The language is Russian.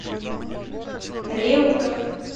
реутов